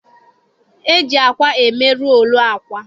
E ji akwa eme roolu akwa.